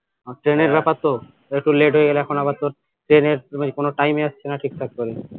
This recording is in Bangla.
ট্রেনের ব্যাপার তো একটু late হয়ে গেলে এখন আবার তো ট্রেনের কোনো time ই আসছেনা ঠিক থাক করে